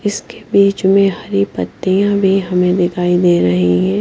इसके बीच में हरी पत्तियां भी हमें दिखाई दे रही हैं।